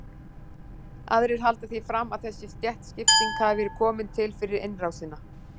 Aðrir halda því fram að þessi stéttaskipting hafi verið komin til fyrir innrásina.